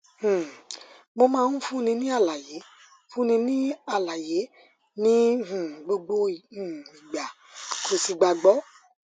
um mo máa ń fúnni ní àlàyé fúnni ní àlàyé ní um gbogbo um ìgbà kò sì gbàgbọ